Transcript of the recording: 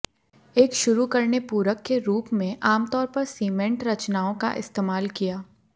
एक शुरू करने पूरक के रूप में आमतौर पर सीमेंट रचनाओं का इस्तेमाल किया